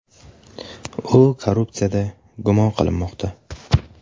U korrupsiyada gumon qilinmoqda.